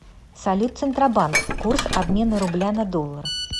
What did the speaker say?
салют центробанк курс обмена рубля на доллар